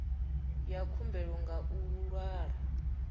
ya khumbelo nga u ṅwala